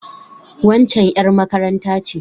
Waccan ƴar makaranta ce.